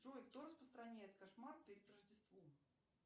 джой кто распространяет кошмар перед рождеством